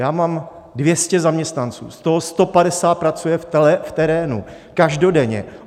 Já mám 200 zaměstnanců, z toho 150 pracuje v terénu, každodenně.